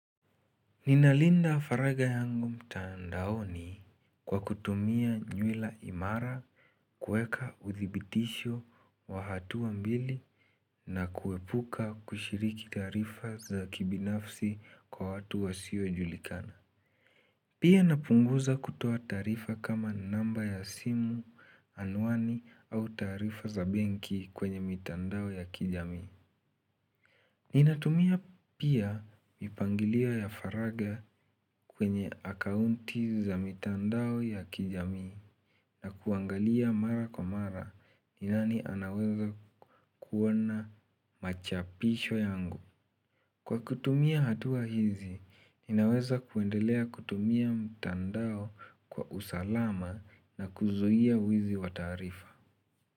Ninalinda faraga yangu mtandaoni kwa kutumia nywila imara kweka uthibitisho wa hatua mbili na kuepuka kushiriki tarifa za kibinafsi kwa watu wa siwo julikana. Pia napunguza kutoa tarifa kama namba ya simu anwani au tarifa za benki kwenye mitandao ya kijami. Ninatumia pia mipangilia ya faraga kwenye akaunti za mitandao ya kijami na kuangalia mara kwa mara ni nani anaweza kuona machapisho yangu. Kwa kutumia hatua hizi, ninaweza kuendelea kutumia mitandao kwa usalama na kuzuia wizi watarifa.